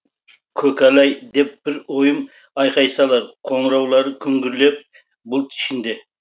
көкәләй деп бір ойым айқай салар қоңыраулары күңгірлеп бұлт ішінде